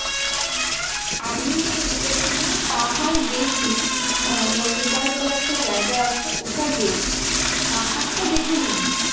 আমি দেখুন আমি পাহাড় গেছি আহ নৈনিতাল বলে একটা জায়গা আছে ওটা গেছি পাহাড়টা দেখে নিয়েছি।